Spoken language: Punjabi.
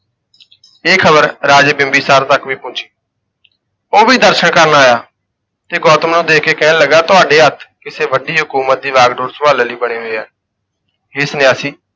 ਇਹ ਖ਼ਬਰ ਰਾਜੇ ਬਿੰਬੀਸਾਰ ਤੱਕ ਵੀ ਪਹੁੰਚੀ ਉਹ ਵੀ ਦਰਸ਼ਨ ਕਰਨ ਆਇਆ, ਤੇ ਗੌਤਮ ਨੂੰ ਦੇਖ ਕੇ ਕਹਿਣ ਲੱਗਾ ਤੁਹਾਡੇ ਹੱਥ ਕਿਸੇ ਵੱਡੀ ਹਕੂਮਤ ਦੀ ਵਾਂਗਡੋਰ ਸੰਭਾਲਣ ਲਈ ਬਣੇ ਹੋਏ ਆ, ਹੇ ਸੰਨਿਆਸੀ